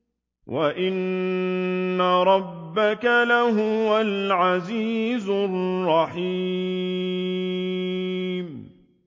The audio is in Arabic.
وَإِنَّ رَبَّكَ لَهُوَ الْعَزِيزُ الرَّحِيمُ